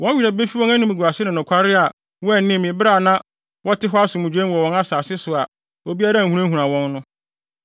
Wɔn werɛ befi wɔn animguase ne nokware a wɔanni me bere a na wɔte hɔ asomdwoe mu wɔ wɔn asase so a obiara nhunahuna wɔn no.